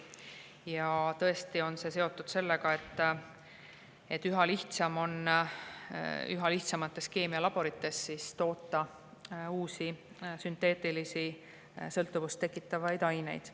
Ja see on seotud sellega, et üha lihtsam on üha lihtsamates keemialaborites toota uusi sünteetilisi sõltuvust tekitavaid aineid.